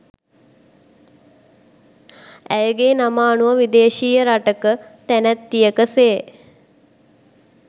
ඇයගේ නම අනුව විදේශීය රටක තැනැත්තියක සේ